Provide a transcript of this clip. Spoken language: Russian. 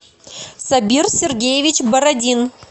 сабир сергеевич бородин